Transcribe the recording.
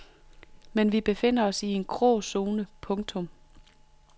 Men vi befinder os i en gråzone. punktum